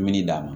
Mini d'a ma